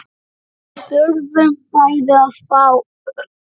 Við þurfum bæði að fá.